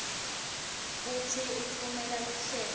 kutsi utfumela luhlelo